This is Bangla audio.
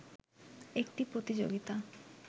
একটি প্রতিযোগিতা